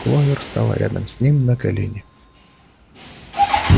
кловер стала рядом с ним на колени